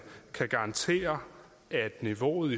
kan garantere at niveauet